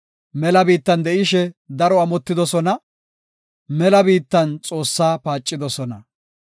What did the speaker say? Mela biittan de7ishe daro amotidosona; mela biittan Xoossaa paacidosona.